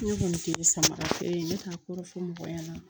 Ne kɔni kun ye samarafeere ye ne k'a kɔrɔ fɔ mɔgɔ ɲɛna